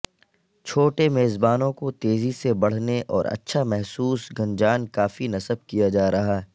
چھوٹے میزبانوں کو تیزی سے بڑھنے اور اچھا محسوس گنجان کافی نصب کیا جا رہا